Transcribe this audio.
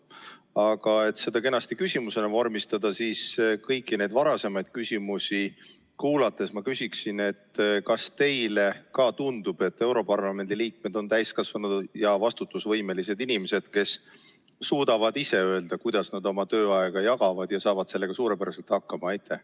Aga et seda kenasti küsimusena vormistada, siis, olles kuulanud kõiki neid varasemaid küsimusi, ma küsiksin nii: kas teile ka tundub, et europarlamendi liikmed on täiskasvanud ja vastutusvõimelised inimesed, kes suudavad ise öelda, kuidas nad oma tööaega jagavad, ja saavad sellega suurepäraselt hakkama?